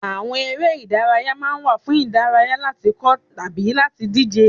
Àwọn eré ìdárayá ma ń wà fún ìdárayá, láti kọ́ ọ tàbí láti díje.